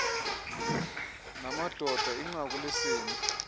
namadoda inqaku lesini